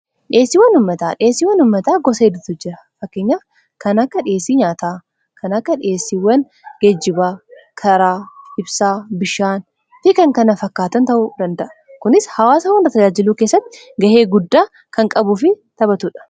Dhiheesiiwwan ummataa Dhihessiwwan ummataa gosa hedduutu jira fakkanya kan akka dhihessii nyaataa kan akka dhiheessiiwwan geejjibaa karaa ibsaa bishaan fi kan kana fakkaatan ta'u danda'a kunis hawaasa hunda tajaajiluu keessatti ga'ee guddaa kan qabuuf taphatuudha